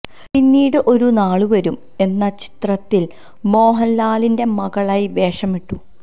പീന്നീട് ഒരു നാള് വരും എന്ന ചിത്രത്തില് മോഹന്ലാലിന്റെ മകളായി വേഷമിട്ടു